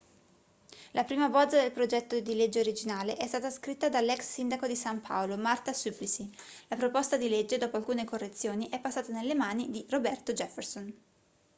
la prima bozza del progetto di legge originale è stata scritta dall'ex sindaco di san paolo marta suplicy la proposta di legge dopo alcune correzioni è passata nelle mani di roberto jefferson